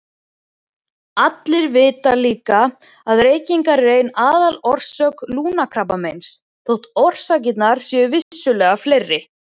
Allir vita líka að reykingar eru ein aðalorsök lungnakrabbameins þótt orsakirnar séu vissulega fleiri.